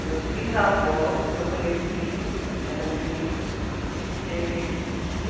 Meus bisavós, que eu conheci, eram vivos eles